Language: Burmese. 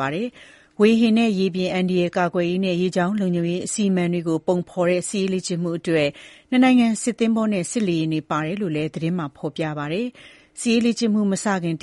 ပါ။ ဝေဟင်နဲ့ ရေပြင် အန္တရာယ် ကာကွယ်ရေးနဲ့ ရေကြောင်းလုံခြုံရေးအစီအမံတွေကို ပုံဖော်တဲ့ စစ်ရေးလေ့ကျင့်မှုတွေအတွက် နှစ်နိုင်ငံ သင်္ဘောနဲ့ လေယာဉ်တွေပါဝင်တယ်လို့လည်း သတင်းမှာ ဖော်ပြပါတယ်။ စစ်ရေးလေ့ကျင့်မှုတွေ မလုပ်ခင်